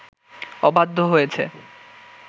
অবাধ্য হয়েছে